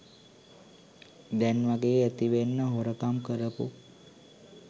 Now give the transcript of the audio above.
දැන්වගේ ඇතිවෙන්න හොරකම් කරපු